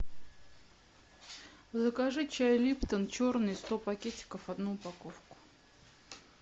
закажи чай липтон черный сто пакетиков одну упаковку